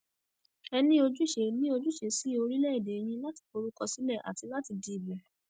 ẹ ní ojúṣe ní ojúṣe sí orílẹèdè yín láti forúkọ sílẹ àti láti dìbò